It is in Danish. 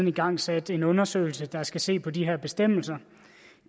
igangsat en undersøgelse der skal se på de her bestemmelser